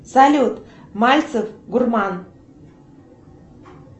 салют мальцев гурман